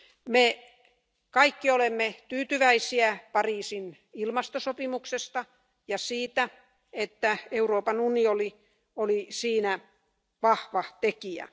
Me kaikki olemme tyytyväisiä Pariisin ilmastosopimukseen ja siihen, että Euroopan unioni oli siinä vahva tekijä.